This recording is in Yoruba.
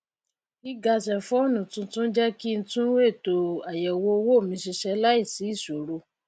gíga sẹẹfóònù tuntun jé kí n tún ètò àyẹwò owó mi ṣiṣẹ láìsí ìṣòro